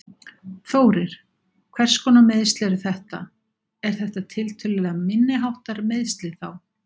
Þórir: Hvers konar meiðsl eru þetta, er þetta tiltölulega, minniháttar meiðsli þá?